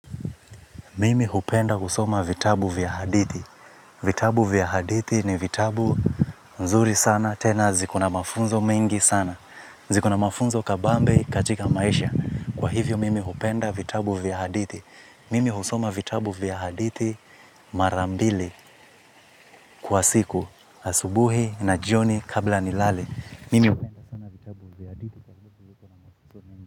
Mimi hupenda kusoma vitabu vya hadithi. Vitabu vya haditi ni vitabu mzuri sana, tena ziko na mafunzo mengi sana. Ziko na mafunzo kabambe katika maisha. Kwa hivyo, mimi hupenda vitabu vya haditi. Mimi husoma vitabu vya haditi marambili kwa siku, asubuhi na jioni kabla nilale.